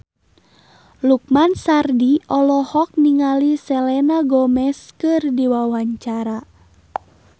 Lukman Sardi olohok ningali Selena Gomez keur diwawancara